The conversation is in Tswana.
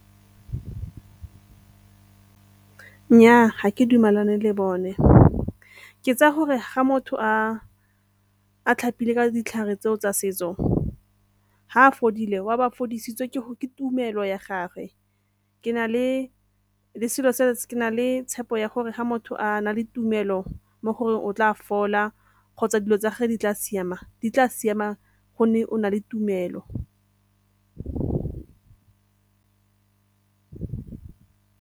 Nnyaa, ga ke dumalane le bone. Ke tsaya gore ga motho a tlhapile ka ditlhare tseo tsa setso ga a fodile wa ba a fodisitswe ke tumelo ya gagwe. Ke na le tshepo ya gore ga motho a na le tumelo mo goreng o tla fola kgotsa dilo tsa gagwe di tla siama, di tla siama gonne o na le tumelo.